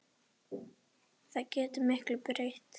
Það getur miklu breytt.